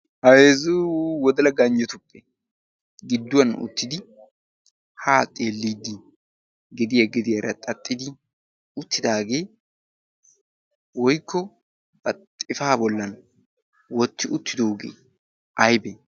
ha heezzu wodala ganjetuppe giduwan uttidi ha xeelidi gediya gediyara xaxxi uttidaagee woykko bari xifaa bolan wotti uttidoogee aybee?